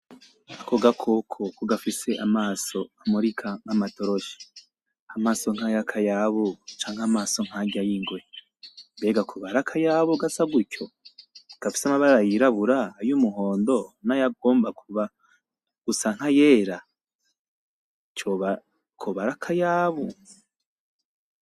Ako gakoko ko gafise amaso amurika nkamatoroshi !,amaso nkaya kayabu canke amaso nkarya yingwe, mbega koba arakayabu gasa gutyo ?,namabara yirabura nayumuhondo nayagomba gusa nka yera ,koba arakayabu ?